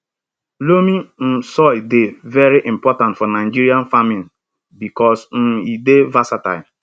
loamy um soil dey very important for nigerian farming because um e dey versatile